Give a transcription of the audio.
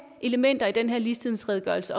elementer i den her ligestillingsredegørelse